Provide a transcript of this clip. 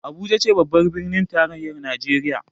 Abuja ce babbar birnin tarayyar Najeriya